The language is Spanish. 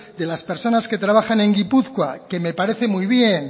de las personas que trabajan en gipuzkoa